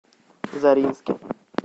заринске